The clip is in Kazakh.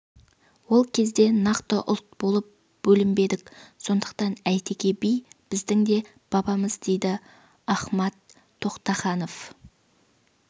ол кезде нақты ұлт болып бөлінбедік сондықтан әйтеке би біздің де бабамыз дейді ахмад тоқтаханов